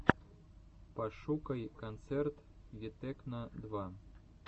пошукай концерт витекно два